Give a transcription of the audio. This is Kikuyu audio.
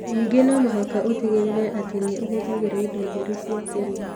Ningĩ no mũhaka ũtigĩrĩre atĩ nĩ ũhũthagĩra indo theru cia kũrĩa.